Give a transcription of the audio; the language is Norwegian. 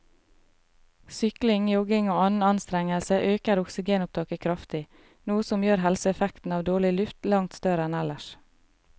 Sykling, jogging og annen anstrengelse øker oksygenopptaket kraftig, noe som gjør helseeffekten av dårlig luft langt større enn ellers.